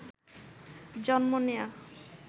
জন্ম নেয়া